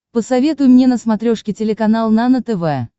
посоветуй мне на смотрешке телеканал нано тв